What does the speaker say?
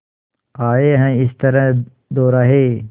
आए हैं इस तरह दोराहे